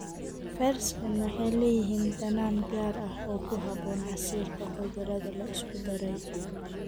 Fersken waxay leeyihiin dhadhan gaar ah oo ku habboon casiirka khudradda la isku daray.